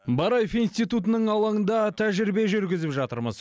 бараев институтының алаңында тәжірибе жүргізіп жатырмыз